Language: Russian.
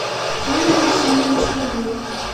юрий александрович кабилов